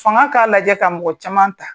Fanga k'a lajɛ ka mɔgɔ caman ta